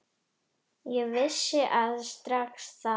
Ég vissi það strax þá.